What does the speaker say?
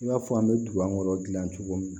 I b'a fɔ an bɛ dugu kɔnɔ dilan cogo min na